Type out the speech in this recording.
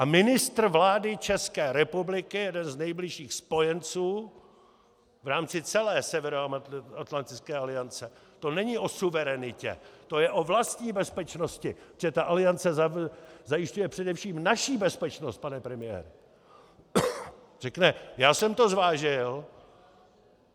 A ministr vlády České republiky, jeden z nejbližších spojenců v rámci celé Severoatlantické aliance - to není o suverenitě, to je o vlastní bezpečnosti, protože ta Aliance zajišťuje především naši bezpečnost, pane premiére - řekne: Já jsem to zvážil.